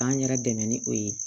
K'an yɛrɛ dɛmɛ ni o ye